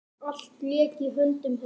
Allt lék í höndum hennar.